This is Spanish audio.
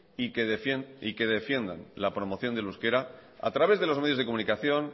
y que defiendan la promoción del euskera a través de los medios de comunicación